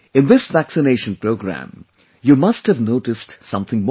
in this vaccination Programme, you must have noticed something more